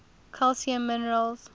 calcium minerals